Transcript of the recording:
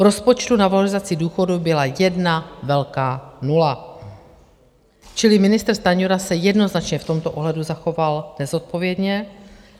V rozpočtu na valorizaci důchodů byla jedna velká nula, čili ministr Stanjura se jednoznačně v tomto ohledu zachoval nezodpovědně.